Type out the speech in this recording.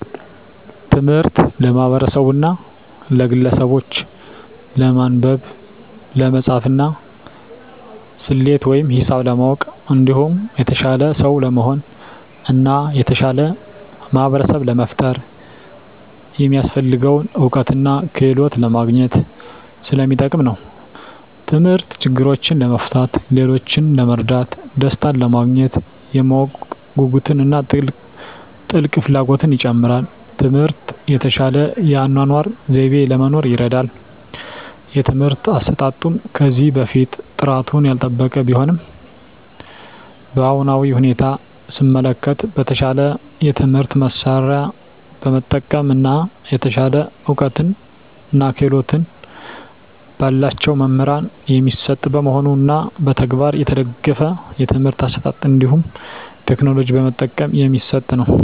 ትምህርት ለማህበርሰቡና ለግለሰቡች ለማንበብ፣ ለመፃፍና፣ ሰሌት ወይም ሂሳብ ለማወቅ እንዲሁም የተሻለ ሰው ለመሆን እና የተሻለ ማህበርሰብ ለመፍጠር የሚያሰፍልገውን እውቀትና ክህሎት ለማግኝት ሰለሚጠቅም ነው። ተምህርት ችግሮችን ለመፍታት፣ ሌሎችን ለመርዳት፣ ደሰታንለማግኘት፣ የማወቅ ጉጉትን እና ጥልቅ ፍላጎትን ይጨምራል። ትምህርት የተሻለ የአኗኗር ዘይቤ ለመኖር ይርዳል። የትምህርት አሰጣጡም ከዚህ በፊት ጥራቱን ያልጠበቀ ቢሆንም በአሁናዊ ሁኔታ ሰመለከት በተሻለ የትምህርት መሳርያ በመጠቀም እና የተሻለ እውቀትና ክህሎት በላቸው መምህራን የሚሰጥ መሆኑንና በተግባር የተደገፍ የትምህርት አሰጣጥ እንዲሁም ቴክኖሎጂ በመጠቀም የሚሰጥ ነው።